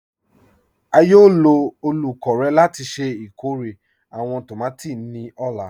À yóò lọ olúkọ̀rè láti ṣẹ ikórè àwọn tómati ni ọ̀la.